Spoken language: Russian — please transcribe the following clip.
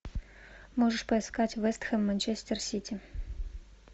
можешь поискать вэстхем манчестер сити